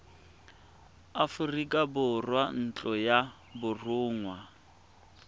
aforika borwa ntlo ya borongwa